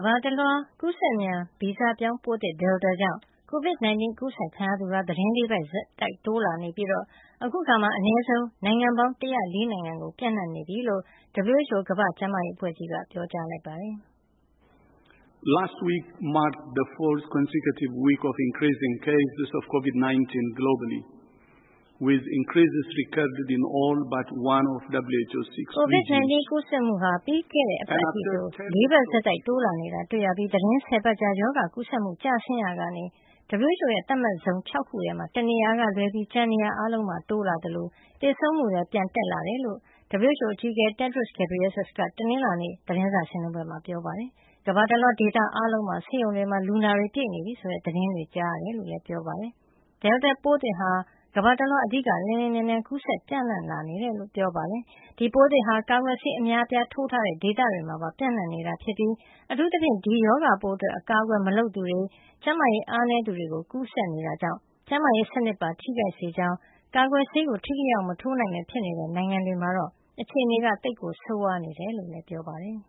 ဘာတလွှား ကူးစက်မြန်ဗီဇပြောင်း ပိုးသစ် Delta ကြောင့် ကိုဗစ် ၁၉ အကူးစက်ခံရသူဟာ သီတင်း ၄ ပတ် ဆက်တိုက်တိုးလာနေပြီး အခုအခါမှာ အနည်းဆုံး နိုင်ငံပေါင်း ၁၀၄ နိုင်ငံ ကို ပြန့်နှံ့နေပြီလို့ ကုလသမဂ္ဂ ကမ္ဘာ့ကျန်းမာရေးအဖွဲ့ WHO က ပြောပါတယ်။ ကိုဗစ် ၁၉ ကူးစက်မှုဟာ ပြီးခဲ့တဲ့ အပတ်အထိဆို ၄ ပတ်ဆက်တိုက် တိုးလာနေတာ တွေ့ရပြီး သီတင်း ၁၀ ပတ်ကြာ ရောဂါကူးစက်မှု ကျဆင်းနေရာကနေ WHO ရဲ့ သတ်မှတ် ဇုံ ၆ ခုထဲမှာ ၁ နေရာကလွဲပြီး ကျန်နေရာ အားလုံးမှာ တိုးလာသလို သေဆုံးမှုလည်း ပြန်တက်လာနေတယ်လို့ WHO အကြီးအကဲ Tedros Adhanom Ghebreyesus က တနင်္လာနေ့ ဂျနီဗာရုံးချုပ် သတင်းစာရှင်းလင်းပွဲမှာ ပြောပါတယ်။ ကမ္ဘာတလွှား ဒေသအားလုံးမှာလည်း ဆေးရုံတွေမှာ လူနာတွေပြည့်နေပြီ ဆိုတဲ့ သတင်းတွေရကြောင်းလည်း ပြောပါတယ်။ Delta ပိုးသစ်ဟာ ကမ္ဘာတလွှား အဓိက လျင်လျင်မြန်မြန် ကူးစက်ပြန့်နှံ့လာနေတယ်လို့ ဆိုပါတယ်။ ဒီပိုးသစ်ဟာ ကာကွယ်ဆေး အများအပြား ထိုးထားတဲ့ ဒေသတွေမှာပါ ပြန့်နှံ့နေတာ ဖြစ်ပြီး အထူးသဖြင့် ဒီရောဂါပိုးအတွက် အကာကွယ် မလုပ်သူတွေ၊ ကျန်းနာရေး အားနည်းသူတွေ ကို ကူးစက်နေတာကြောင့် ကျန်းမာရေး စံနစ်ကိုပါ ထိခိုက်စေကြောင်းနဲ့ ကာကွယ်ဆေး ထိထိရောက်ရောက် မထိုးနိုင်ပဲ ဖြစ်နေတဲ့ နိုင်ငံတွေမှာတော့ အခြေနေဟာ သိပ်ကို ဆိုးဝါးနေတယ်လို့လည်း ပြောပါတယ်